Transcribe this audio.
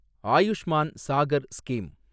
Ayushman Sagar scheme